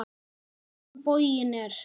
Á hinn bóginn er